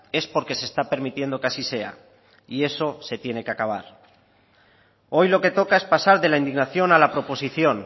es porque se está permitiendo que así sea y eso se tiene que acabar hoy lo que toca es pasar de la indignación a la proposición